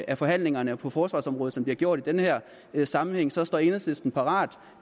af forhandlingerne på forsvarsområdet som de har gjort i den her sammenhæng så står enhedslisten parat